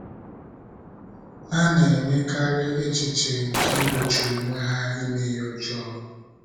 Ha na - enyekarị echiche nke igbochi onwe ha ime ihe ọjọọ.